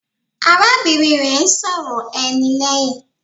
Arábìnrin rẹ̀ ń sọ̀rọ̀ ẹni lẹ́hìn.